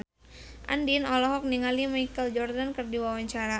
Andien olohok ningali Michael Jordan keur diwawancara